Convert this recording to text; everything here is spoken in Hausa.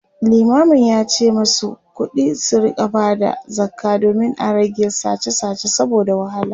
limamin yace masu kuɗi su rinka Bada zakka domin a rage sache sache saboda wahala